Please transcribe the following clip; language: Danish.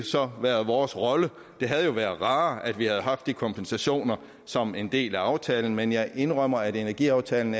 så været vores rolle det havde jo været rarere at vi havde haft den kompensation som en del af aftalen men jeg indrømmer at energiaftalen